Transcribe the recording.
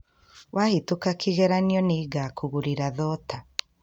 Wahĩtũka kegeranio ni ngũkũgurera thota